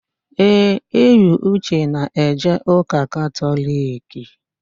Ee, Eyiuche na-eje ụ́kà Katọliki.